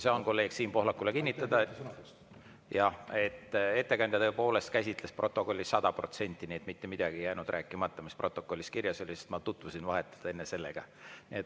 Saan kolleeg Siim Pohlakule kinnitada, et ettekandja tõepoolest käsitles protokolli sada protsenti, nii et mitte midagi ei jäänud rääkimata, mis protokollis kirjas oli, sest ma enne tutvusin sellega.